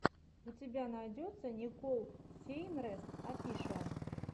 у тебя найдется никол сейнрэс офишиал